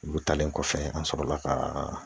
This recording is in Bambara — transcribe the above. Olu talen kɔfɛ an sɔrɔla ka